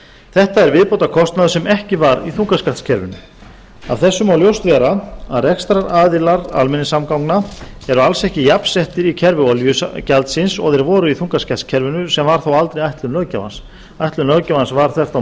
þetta er viðbótarkostnaður sem ekki var í þungaskattskerfinu af þessu má ljóst vera að rekstraraðilar almenningssamgangna eru alls ekki jafnsettir í kerfi olíugjaldsins og þeir voru í þungaskattskerfinu sem var þó aldrei ætlun löggjafans ætlun löggjafans var þvert á